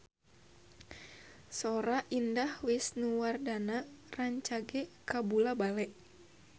Sora Indah Wisnuwardana rancage kabula-bale